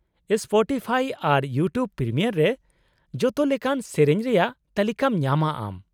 -Spotify ᱟᱨ YouTube premium ᱨᱮ ᱡᱚᱛᱚ ᱞᱮᱠᱟᱱ ᱥᱮᱹᱨᱮᱹᱧ ᱨᱮᱭᱟᱜ ᱛᱟᱹᱞᱤᱠᱟᱢ ᱧᱟᱢᱟ ᱟᱢ ᱾